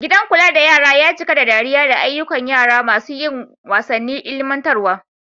Gidan kula da yara ya cika da dariya da ayyukan yara masu yin wasannin ilimantarwa.